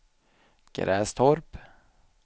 Grästorp